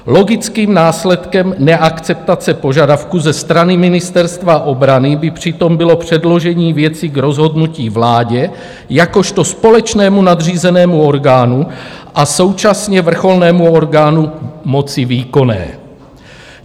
Logickým následkem neakceptace požadavku ze strany Ministerstva obrany by přitom bylo předložení věci k rozhodnutí vládě jakožto společnému nadřízenému orgánu a současně vrcholnému orgánu moci výkonné.